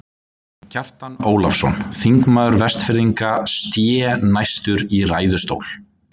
Kjartan Ólafsson, þingmaður Vestfirðinga, sté næstur í ræðustól.